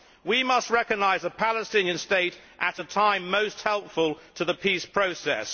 We must recognise the Palestinian state at a time most helpful to the peace process.